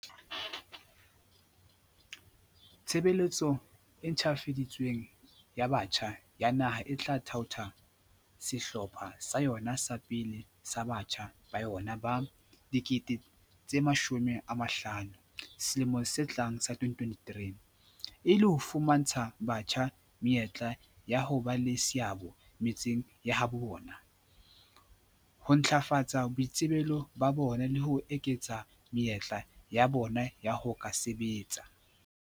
"Tshebeletso e ntjhafadi tsweng ya Batjha ya Naha e tla thaotha sehlopha sa yona sa pele sa batjha ba yona ba 50 000 selemong se tlang sa 2023, e le ho fumantsha batjha menyetla ya ho ba le seabo metseng ya habo bona, ho ntlafatsa boitsebelo ba bona le ho eketsa menyetla ya bona ya ho ka sebetsa."